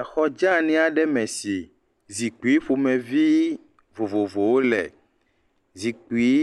Axɔ dzenyi aɖe me si zikpui vovovowo le. Zipkui